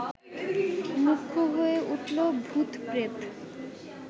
মুখ্য হয়ে উঠল ভূত-প্রেত!